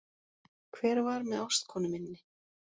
Hver var með ástkonu minni